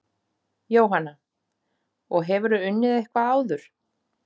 Jóhanna: Og hefurðu unnið eitthvað áður?